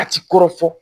A ti kɔrɔ fɔ